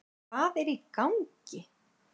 HVAÐ ER Í GANGI??